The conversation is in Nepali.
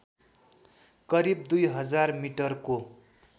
करिब दुई हजार मिटरको